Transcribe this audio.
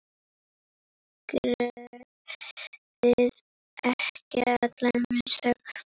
Gerum við ekki allir mistök?